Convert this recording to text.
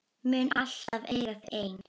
Mun alltaf eiga þau ein.